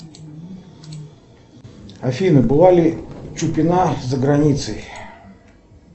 афина была ли чупина за границей